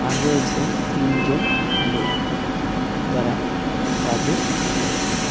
আর রয়েছে তিনজন লোক যারা কাজে ব্যস্ত।